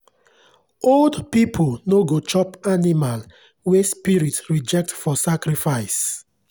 old people no go chop animal wey spirit reject for sacrifice.